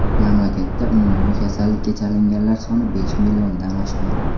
Mamlakatda umumiy kasallikka chalinganlar soni besh milliondan oshgan .